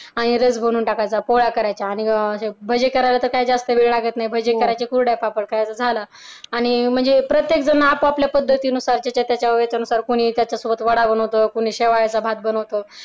आणि रस बनवून टाकायचा पोळ्या करायच्या आणि करायला काही वेळ लागत नाही करायचे कुरडया पापड बनवायच्या झालं आणि म्हणजे प्रत्येक जण आपापल्या पद्धतीने सारखेच कोण आहे त्याच्या सोबत माझं कोणी वडा बनवत कोणी शेवयाचा भात बनवत.